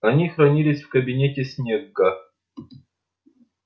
они хранились в кабинете снегга